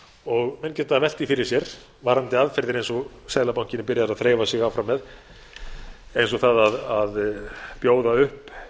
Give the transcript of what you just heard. og menn geta velt því fyrir sér verðandi aðgerðir eins og seðlabankinn er byrjaður að þreifa sig áfram með eins og það að bjóða upp